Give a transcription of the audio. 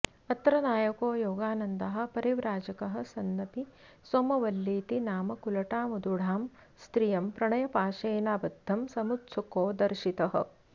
अत्र नायको योगानन्दः परिव्राजकः सन्नपि सोमवल्लीति नाम कुलटामुदूढां स्त्रियं प्रणयपाशेनाबद्धं समुत्सुकोदर्शितः